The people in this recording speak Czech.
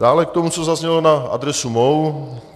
Dále k tomu, co zaznělo na adresu mou.